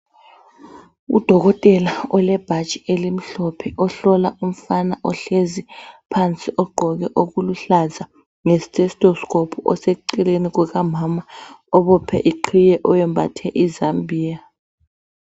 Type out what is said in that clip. Udokotela olebhatshi elimhlophe ohlola umfana ohlezi phansi ogqoke okuluhlaza ngesitetosikopu oseceleni kuka mama obophe iqhiye oyembathe izambiya.